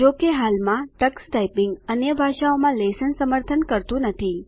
જોકે હાલમાં Tux typing અન્ય ભાષાઓમાં લેશન સમર્થન કરતું નથી